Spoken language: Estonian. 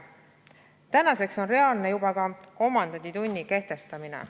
Tänaseks on reaalne juba ka komandanditunni kehtestamine.